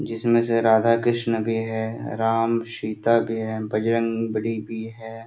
जिसमे से राधा कृष्ण भी है राम सीता भी है बजरंग बलि भी है |